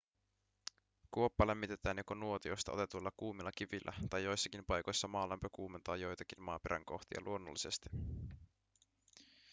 kuoppa lämmitetään joko nuotiosta otetuilla kuumilla kivillä tai joissakin paikoissa maalämpö kuumentaa joitakin maaperän kohtia luonnollisesti